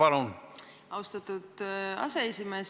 Aitäh, austatud aseesimees!